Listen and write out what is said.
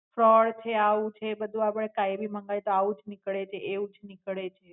Fraud છે આવું છે બધું આપડે કાયમી મંગાઇયે તો આવું જ નીકળે તે એવું જ નીકળે છે.